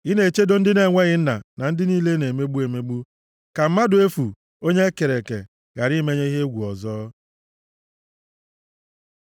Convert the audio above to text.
Ị na-echedo ndị na-enweghị nna na ndị niile a na-emegbu emegbu, ka mmadụ efu, onye e kere eke, ghara imenye ha egwu ọzọ.